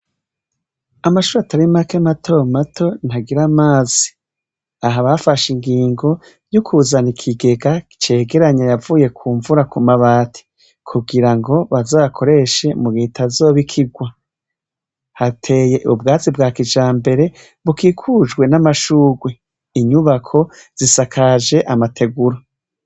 Amashure atari make mato mato ntagira amazi aha bafashe ingingo yo kuzana ikigega cyegeranya ayavuye kumvura kumabati kugira bazoyakoreshe mu gihe utazoba ikirwa. Hateye ubwatsi bwa kijambere bukokujwe namashurwe inyubako zisakajwe amategura.